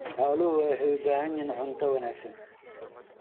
Xooluhu waxay u baahan yihiin cunto wanaagsan.